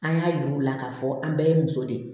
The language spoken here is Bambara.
An y'a yir'u la k'a fɔ an bɛɛ ye muso de ye